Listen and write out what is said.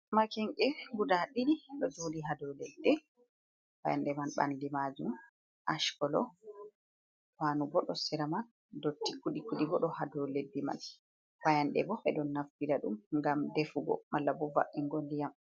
Maken'ge guda ɗiɗi ɗo joɗi ha ɗau leddi payande man ɓandu majum ash colo panu ɓo sera man dotti kuɗi kuɗi bo ɗo ha dou leddi man, Fayande bo ɓe ɗon naftira dum gam ɗefugo, Malla bo ba'ungo ndiyam.